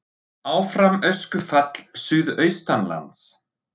Áfram öskufall suðaustanlands